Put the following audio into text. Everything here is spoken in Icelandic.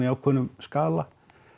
ákveðnum skala